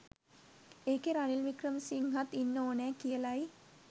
ඒකේ රනිල් වික්‍රමසිංහත් ඉන්න ඕනෑ කියලයි.